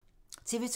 TV 2